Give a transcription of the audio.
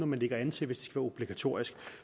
man lægger an til hvis det obligatorisk